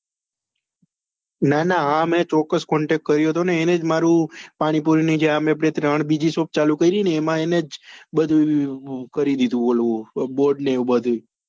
ના ના મેં ચોક્કસ એમને contact કર્યો હતો એમણે જ મારું જે મેં પાણીપુરી ની બીજી મેં બે shop કરી ને એમણે જ બહુ એનું કરી દીધું ઓલું board ને બધું